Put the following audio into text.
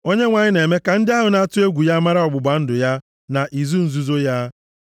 Onyenwe anyị na-eme ka ndị ahụ na-atụ egwu ya mara ọgbụgba ndụ ya na izu nzuzo ya.